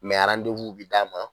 Mɛ arandewuw bi d'a ma